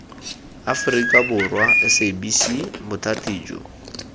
aforika borwa sabc bothati jo